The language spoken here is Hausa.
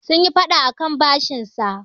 sun yi fada akan bashinsa